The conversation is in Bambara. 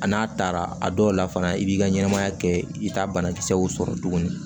A n'a taara a dɔw la fana i b'i ka ɲɛnɛmaya kɛ i t'a banakisɛw sɔrɔ tuguni